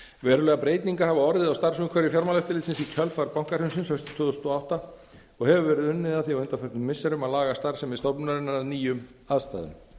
verulegar breytingar hafa orðið á starfsumhverfi fjármálaeftirlitsins í kjölfar bankahrunsins haustið tvö þúsund og átta og hefur verið unnið að því á undanförnum missirum að laga starfsemi stofnunarinnar að nýjum aðstæðum